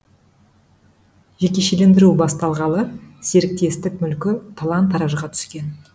жекешелендіру басталғалы серіктестік мүлкі талан таражға түскен